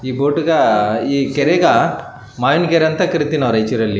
ಇಲ್ಲಿ ಒಂದು ಸಣ್ಣ ಕೆರೆ ಐತಿ ಕೆರೆಲಿ ನೋಡೋದಾದ್ರೆ ಒಂದು ಹಡಗ ಐತಿ ಸಣ್ಣದು ಬೋಟ್ .